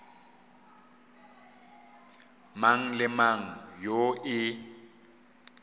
mang le mang yoo e